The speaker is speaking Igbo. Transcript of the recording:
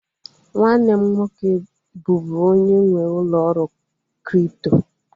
Nwanne m nwoke bụbu onye nwee ụlọ ọrụ kripto